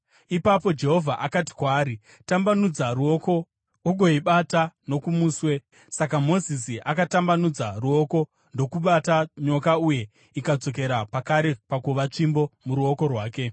Ipapo Jehovha akati kwaari, “Tambanudza ruoko ugoibata nokumuswe.” Saka Mozisi akatambanudza ruoko ndokubata nyoka uye ikadzokera pakare pakuva tsvimbo muruoko rwake.